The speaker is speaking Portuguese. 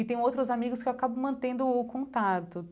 E tem outros amigos que eu acabo mantendo o contato.